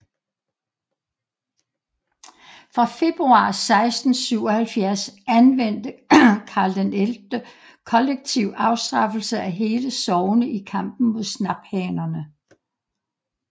Fra februar 1677 anvendte Karl XI kollektiv afstraffelse af hele sogne i kampen mod snaphanerne